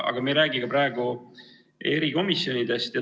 Aga me ei räägi praegu erikomisjonidest.